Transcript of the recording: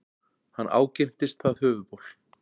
Hann ágirntist það höfuðból.